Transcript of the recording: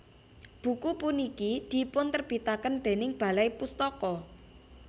Buku puniki dipunterbitaken déning Balai Pustaka